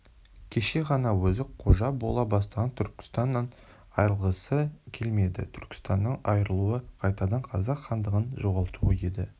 кеше ғана өзі қожа бола бастаған түркістаннан айрылғысы келмеді түркістаннан айырылуы қайтадан қазақ хандығын жоғалтуы еді